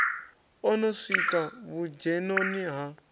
o no swika vhudzhenoni ha